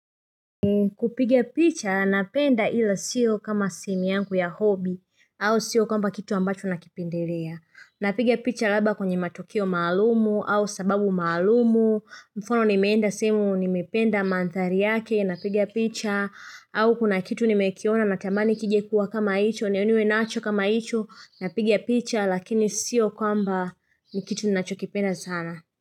Kupiga picha napenda ila sio kama simu yangu ya hobi au sio kwamba kitu ambacho nakipendelea. Napigia picha labda kwenye matukio maalumu au sababu maalumu. Mfano nimeenda sehemu nimependa mandhari yake Napiga picha au kuna kitu nimekiona natamani kije kuwa kama hicho ndiyo niwe nacho kama hicho, napiga picha lakini siyo kwamba ni kitu ninacho kipenda sana.